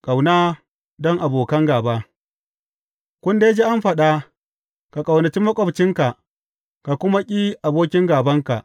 Ƙauna don abokan gāba Kun dai ji an faɗa, Ka ƙaunaci maƙwabcinka, ka kuma ƙi abokin gābanka.’